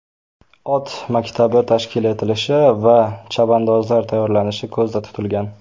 Ot maktabi tashkil etilishi va chavandozlar tayyorlanishi ko‘zda tutilgan.